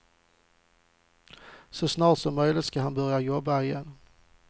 Så snart som möjligt ska han börja jobba igen.